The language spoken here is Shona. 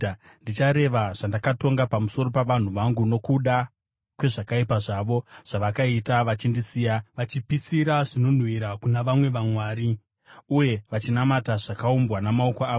Ndichareva zvandakatonga pamusoro pavanhu vangu nokuda kwezvakaipa zvavo zvavakaita vachindisiya, vachipisira zvinonhuhwira kuna vamwe vamwari uye vachinamata zvakaumbwa namaoko avo.